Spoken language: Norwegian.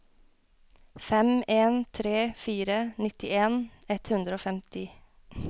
fem en tre fire nittien ett hundre og femti